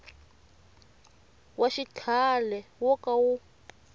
wa xikhale wo ka wu